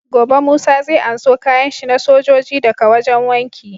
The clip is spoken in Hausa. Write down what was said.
Gobe musa zai anso kayan shi na sojoji da ka wajan wanki